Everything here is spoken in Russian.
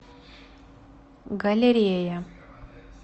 галерея